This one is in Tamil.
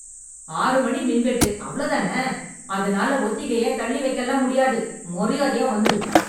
ஆறு மணி மின்வெட்டு அவ்ளோ தான? அதனால ஒத்திகைய தள்ளி வைக்கல்லாம் முடியாது. மரியாதையா வந்துரு.